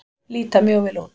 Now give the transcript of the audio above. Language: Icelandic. Líta mjög vel út.